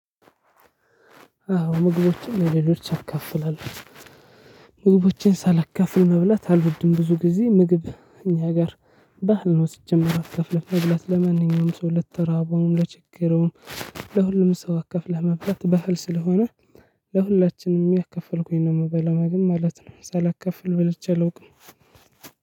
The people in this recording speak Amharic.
አዎ ምግቦችን ለሌሎችን አካፍላለሁ። ምግቦችን ሳላካፍል መብላት አልወድም ብዙ ጊዜ ምግብ እኛ ጋር ባህል ነው ሲጀመር አትከፍልም መብላት ለማንኛውም ሰው ለተራበውም ለቸገረውም። ለሁሉም ሰው አካፍለህ መብላት ባህል ስለሆነ ለሁላችንም እያካፈልኩኝ ነው የምበላው ምግብ ማለት ነው። ሳላካፍል በልቼ አላውቅም።